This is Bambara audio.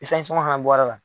sɔngɔn fɛnɛ bɔra la.